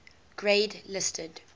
grade listed